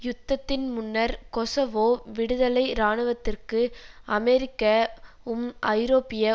யுத்தத்தின் முன்னர் கொசவோ விடுதலை இராணுவத்திற்கு அமெரிக்க உம் ஐரோப்பிய